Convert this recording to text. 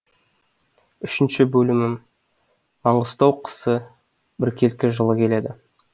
үшінші бөлімі маңғыстау қысы біркелкі жылы келеді